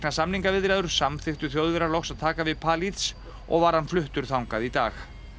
samningaviðræður samþykktu Þjóðverjar loks að taka við og var hann fluttur þangað í dag